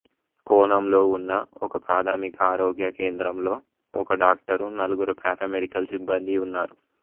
కోనంలో ఉన్న ఒకప్రాథమిక ఆరోగ్య కేంద్రంలో ఒక డాక్టరు నలుగురు పారామెడికల్ సిబ్బందీ ఉన్నారు